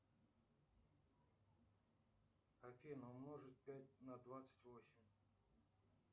афина умножить пять на двадцать восемь